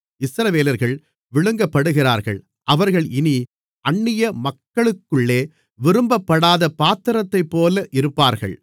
இஸ்ரவேலர்கள் விழுங்கப்படுகிறார்கள் அவர்கள் இனி அந்நிய மக்களுக்குள்ளே விரும்பப்படாத பாத்திரத்தைப்போல் இருப்பார்கள்